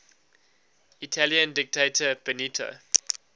italian dictator benito